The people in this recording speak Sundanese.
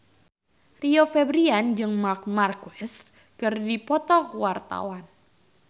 Rio Febrian jeung Marc Marquez keur dipoto ku wartawan